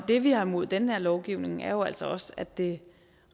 det vi har imod den her lovgivning er jo altså også at det